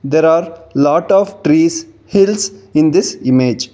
there are lot of trees hills in this image.